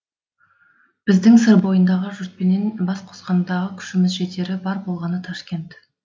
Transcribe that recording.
біздің сыр бойындағы жұртпенен бас қосқандағы күшіміз жетері бар болғаны ташкент